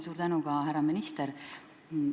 Suur tänu ka, härra minister!